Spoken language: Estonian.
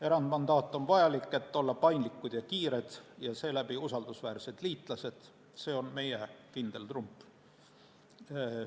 Erandmandaat on vajalik, et olla paindlikud ja kiired ja seeläbi usaldusväärsed liitlased, see on meie kindel trump.